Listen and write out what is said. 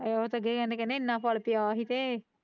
ਉਹ ਤੇ ਗਏ ਕਹਿੰਦੇ ਇਹਨਾਂ ਫ਼ਲ ਪਈਆਂ ਸੀ ਤੇ।